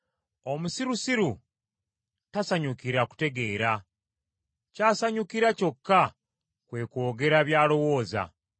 Omusirusiru tasanyukira kutegeera, ky’asanyukira kyokka kwe kwogera by’alowooza.